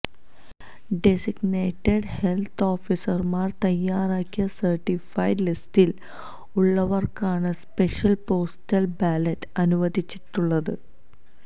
designated health ഓഫീസർമാർ തയ്യാറാക്കിയ certified ലിസ്റ്റിൽ ഉള്ളവർക്കാണ് സ്പെഷ്യൽ പോസ്റ്റൽ ബാലറ്റ് അനുവദിച്ചിട്ടുള്ളത്